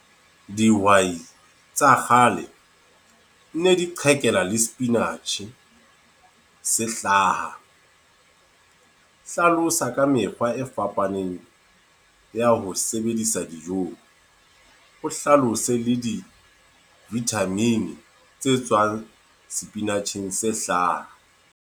Dihwai tsa kgale, ne di qhekella le spinach se hlaha. Hlalosa ka mekgwa e fapaneng ya ho sebedisa dijong. O hlalose le di-vitamin tse tswang spinach-eng se hlaha.